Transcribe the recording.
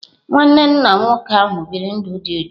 Nwanne nna nwoke ahụ biri ndụ dị jụụ.